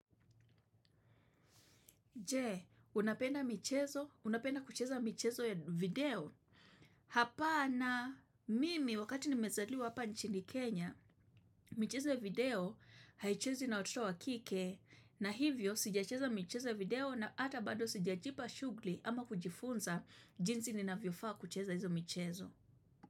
Je, unapenda michezo? Unapenda kucheza michezo ya video? Hapana mimi wakati nimezaliwa hapa nchini Kenya, michezo ya video haichezwi na watoto wa kike na hivyo sijacheza michezo ya video na hata bado sijajipa shughuli ama kujifunza jinsi ninavyofaa kucheza hizo michezo.